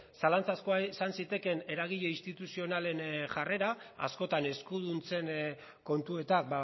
zalantzazkoa izan zitekeen eragile instituzionalen jarrera askotan eskuduntzen kontuetan